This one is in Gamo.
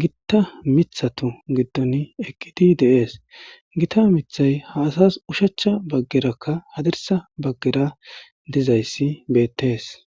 gitta mithatu giddon ekidi deees gita mithay ha asas ushachcha baggerakka hadirsa baggera dizayssi bettees